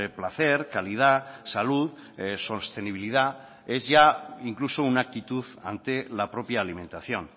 placer calidad salud sostenibilidad es ya incluso una actitud ante la propia alimentación